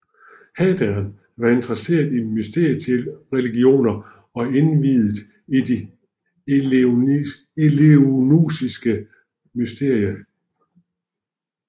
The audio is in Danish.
Hadrian var interesseret i mysteriereligioner og indviet i de eleusinske mysterier